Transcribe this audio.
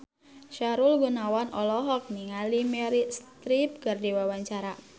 Sahrul Gunawan olohok ningali Meryl Streep keur diwawancara